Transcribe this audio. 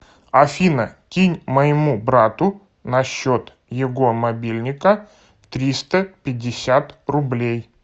афина кинь моему брату на счет его мобильника триста пятьдесят рублей